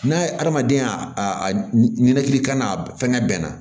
N'a ye hadamadenyakan n'a fɛnkɛ bɛnna